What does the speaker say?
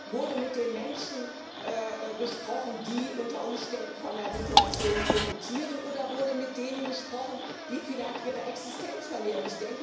Wurde mit den Menschen gesprochen, die unter Umständen von der Situation profitieren, oder wurde mit denen gesprochen, die vielleicht ihre Existenz verlieren?